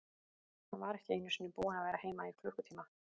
Hann var ekki einu sinni búinn að vera heima í klukkutíma.